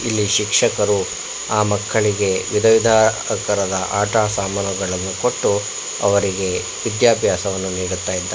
ಇಲ್ಲಿ ಶಿಕ್ಷಕರು ಆ ಮಕ್ಕಳಿಗೆ ವಿಧವಿಧ ಆಕಾರದ ಆಟ ಸಾಮಾನುಗಳನ್ನು ಕೊಟ್ಟು ಅವರಿಗೆ ವಿದ್ಯಾಭ್ಯಾಸವನ್ನು ನೀಡುತ್ತ ಇದ್ದ--